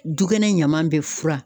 Dukɛnɛ ɲaman bɛ fura